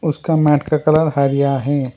उसका मैट का कलर हरिया है।